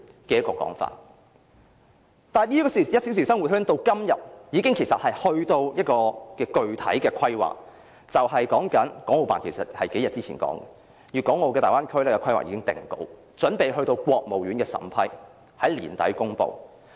這個1小時生活圈至今已達致具體規劃，其實國務院港澳事務辦公室數天前已說，粵港澳大灣區規劃已定稿，準備上呈國務院審批，並於年底公布。